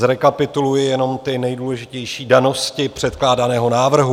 Zrekapituluji jenom ty nejdůležitější danosti předkládaného návrhu.